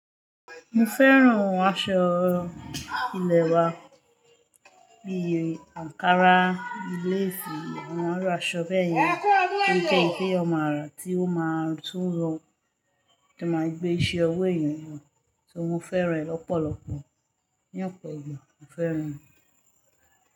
Mo fẹ́ràn aṣọ ilẹ̀ wa bí i ankara, leesi, àwọn iru aṣọ bẹ́yẹn. Ó je ohun ti eeyan màa rá tí ó máa tún yo, ti o máa gbé iṣẹ́ owó èeyan yo, so, mo fẹ́ràn rẹ̀ lọ́pọ̀lọpọ̀. Ní ọ̀pọ̀ ìgbà, mo fẹ́ràn rẹ̀.